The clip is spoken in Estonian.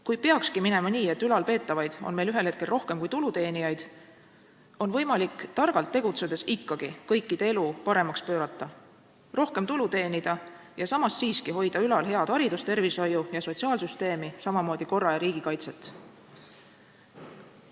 Kui peakski minema nii, et ülalpeetavaid on meil ühel hetkel rohkem kui tuluteenijaid, on võimalik targalt tegutsedes ikkagi kõikide elu paremaks pöörata, rohkem tulu teenida ja samas hoida siiski ülal head haridus-, tervishoiu- ja sotsiaalsüsteemi, samamoodi korra- ja riigikaitset.